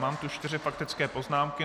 Mám tu čtyři faktické poznámky.